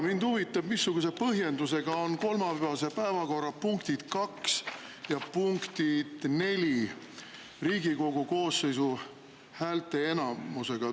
Mind huvitab, missuguse põhjendusega on kolmapäevase päevakorra punktide nr 2 ja 4 puhul vajalik Riigikogu koosseisu häälteenamus.